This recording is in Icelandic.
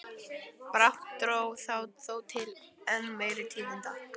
Brátt dró þó til enn meiri tíðinda.